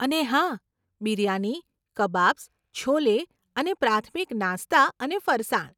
અને હા, બિરયાની, કબાબ્સ, છોલે અને પ્રાથમિક નાસ્તા અને ફરસાણ.